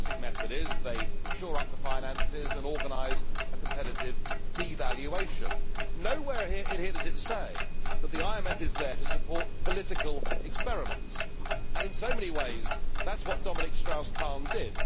The classic method uses is to shore up the finances and organise a competitive devaluation. Nowhere in here does it say that the IMF is there to support political experiments and, in so many ways, that is what Dominique Strauss Kahn did.